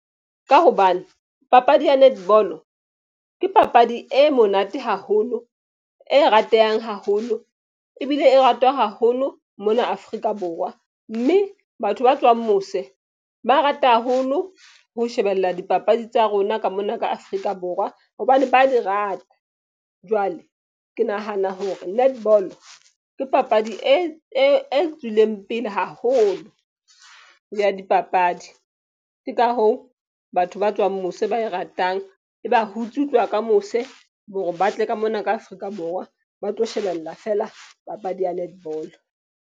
Ka hobane papadi ya netball-o ke papadi e monate haholo, e ratehang haholo. Ebile e ratwa haholo mona Afrika Borwa. Mme batho ba tswang mose ba rata haholo ho shebella dipapadi tsa rona ka mona ka Afrika Borwa. Hobane ba di rata jwale ke nahana hore netball-o ke papadi e tswileng pele haholo ya dipapadi. Ke ka hoo batho ba tswang mose ba e ratang. E ba hutse ho tloha ka mose hore ba tle ka mona ka Afrika Borwa ba tlo shebella feela papadi ya netball.